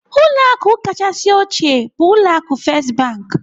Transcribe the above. Ụlọ akụ kachasị ochie bụ ụlọ akụ First Bank.